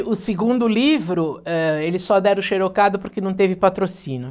O segundo livro, eh, eles só deram o xerocado porque não teve patrocínio.